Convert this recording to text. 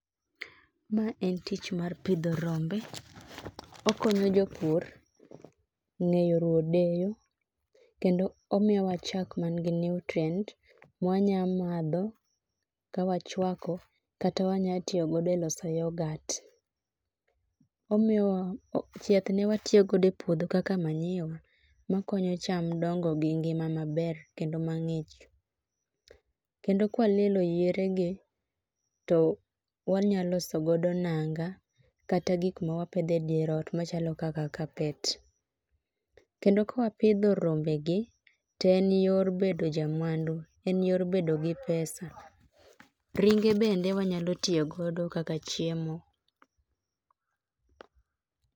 Ma en tich mar pidho rombe okonyo ja pur ngeyo ruwo odeyo kendo omiyo wa chak man gi nutrient mwa nyalo madho ka wa chwako kata wanyalo tiyo godo e loso yorgurt chieth ne watiyo go do e puodho kaka manure ma konyo cham dongo gi ngima maber kendo ma ngich kendo ka wa lielo yiere gi to wanyalo loso godo nanga kata gik ma wa pedho e dier ot kaka carpet kendo ka wa pidho rombe gi to en yor bedo ja mwandu en yor bedo gi pesa ringe bende wanyalo tiyo go e chiemo.